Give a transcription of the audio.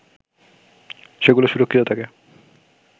সেগুলো সুরক্ষিত থাকে